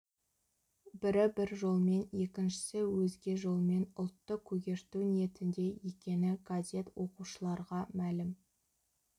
бірі бір жолмен екіншісі өзге жолмен ұлтты көгерту ниетінде екені газет оқушыларға мәлім